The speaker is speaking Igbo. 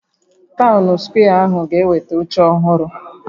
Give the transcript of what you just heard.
Taụn skwee ahụ ga-enweta oche ọhụrụ